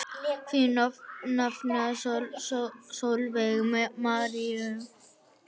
Þín nafna Sólveig María.